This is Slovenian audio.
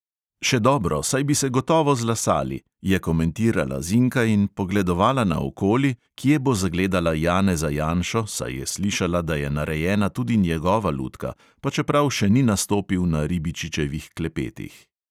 "Še dobro, saj bi se gotovo zlasali," je komentirala zinka in pogledovala naokoli, kje bo zagledala janeza janšo, saj je slišala, da je narejena tudi njegova lutka, pa čeprav še ni nastopil na ribičičevih klepetih.